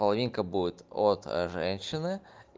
половинка будет от женщины